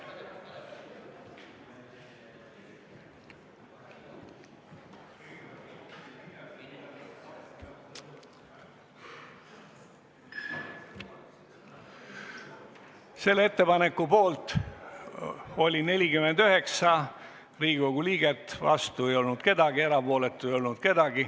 Hääletustulemused Ettepaneku poolt oli 49 Riigikogu liiget, vastu ei olnud keegi ja ka erapooletuid ei olnud.